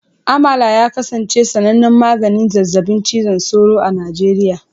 Amalar ya kasance sanannen maganin zazzabin cizon sauro a Najeriya